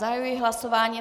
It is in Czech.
Zahajuji hlasování.